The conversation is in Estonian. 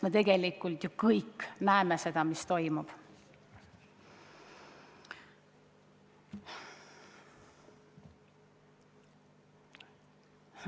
Me tegelikult ju kõik näeme, mis toimub.